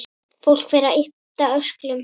Fólk fer að yppta öxlum.